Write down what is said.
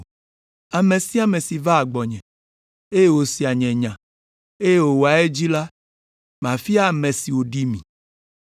Ame sia ame si vaa gbɔnye, eye wòsea nye nya, eye wòwɔa edzi la, mafia ame si wòɖi mi.